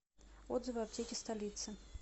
отзывы аптеки столицы